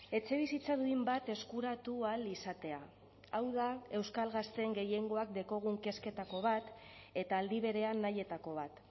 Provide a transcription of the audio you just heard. etxebizitza duin bat eskuratu ahal izatea hau da euskal gazteen gehiengoak daukagun kezketako bat eta aldi berean nahietako bat